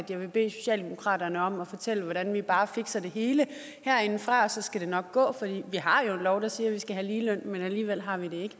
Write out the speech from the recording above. jeg vil bede socialdemokratiet om at fortælle hvordan vi bare fixer det hele herindefra og så skal det nok gå for vi har jo en lov der siger at vi skal have ligeløn men alligevel har vi det ikke